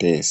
de'es.